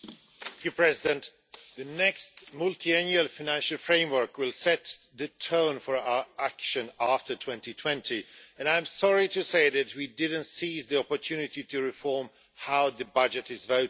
Mr President, the next Multiannual Financial Framework will set the tone for our action after 2020, and I am sorry to say that we didn't seize the opportunity to reform how the budget is voted.